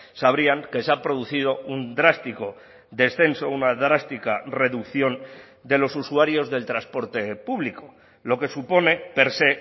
sabrían que se ha producido un drástico descenso una drástica reducción de los usuarios del transporte público lo que supone per se